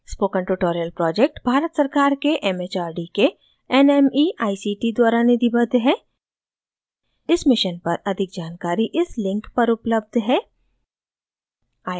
spoken tutorial project Bharat सरकार के mhrd के nmeict द्वारा निधिबद्ध है इस मिशन पर अधिक जानकारी इस लिंक पर उपलब्ध है